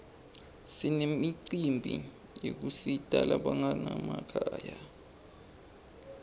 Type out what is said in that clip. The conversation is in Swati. sinemicimbi yekusita labanganamakhaya